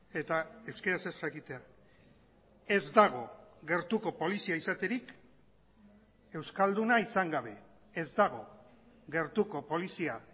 eta euskaraz ez jakitea ez dago gertuko polizia izaterik euskalduna izan gabe ez dago gertuko polizia